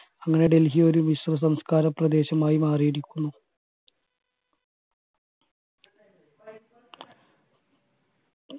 അങ്ങനെ ഡെൽഹി ഒരു മിശ്രിതസംസ്‌കാരപ്രദേശമായി മാറിയിരിക്കുന്നു